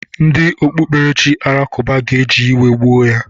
Ndị okpukperechi Alakụba ga-eji iwe gbuo ya.